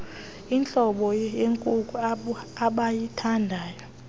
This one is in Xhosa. intlobo yekuku abayithandayo